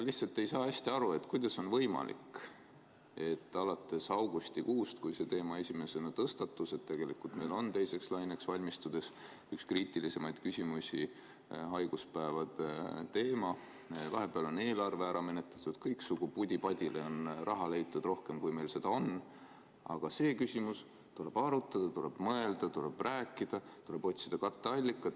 Lihtsalt ei saa hästi aru, kuidas on võimalik, et alates augustikuust, kui see teema esimest korda tõstatus, et tegelikult on meil teiseks laineks valmistudes üks kriitilisemaid küsimusi haiguspäevade teema – vahepeal on eelarve ära menetletud, kõiksugu pudi-padile on raha leitud rohkem, kui meil seda on –, selles küsimuses öeldakse ikka, et tuleb arutada, tuleb mõelda, tuleb rääkida, tuleb otsida katteallikad.